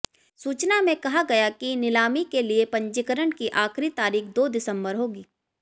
सूचना में कहा गया कि नीलामी के लिए पंजीकरण की आखिरी तारीख दो दिसंबर होगी